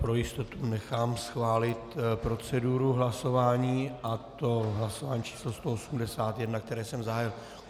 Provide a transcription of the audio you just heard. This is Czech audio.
Pro jistotu nechám schválit proceduru hlasování, a to hlasování číslo 181, které jsem zahájil.